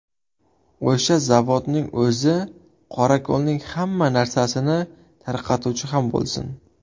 O‘sha zavodning o‘zi qorako‘lning hamma narsasini tarqatuvchi ham bo‘lsin.